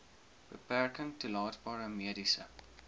beperking toelaatbare mediese